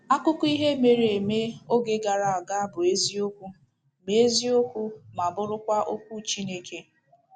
Akụkọ ihe mere eme oge gara aga bụ eziokwu ma eziokwu ma bụrụkwa okwu Chineke